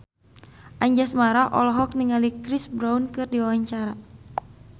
Anjasmara olohok ningali Chris Brown keur diwawancara